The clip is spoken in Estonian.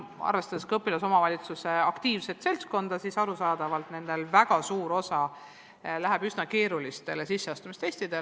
Arvestades õpilasesinduste aktiivset seltskonda, on neil arusaadavalt väga palju tegemist üsna keeruliste sisseastumistestidega.